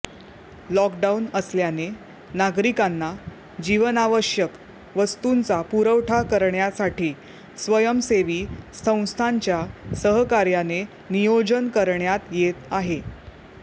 lockdown असल्याने नागरिकांना जीवनावश्यक वस्तूंचा पुरवठा करण्यासाठी स्वयंसेवी संस्थांच्या सहकार्याने नियोजन करण्यात येत आहे